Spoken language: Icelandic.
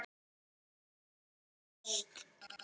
Þau munu leysast.